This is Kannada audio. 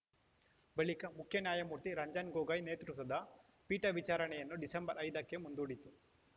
ಬಳಿಕ ಮುಖ್ಯ ನ್ಯಾಯಮೂರ್ತಿ ರಂಜನ್‌ ಗೊಗೊಯ್‌ ನೇತೃತ್ವದ ಪೀಠ ವಿಚಾರಣೆಯನ್ನು ಡಿಸೆಂಬರ್ ಐದಕ್ಕೆ ಮುಂದೂಡಿತು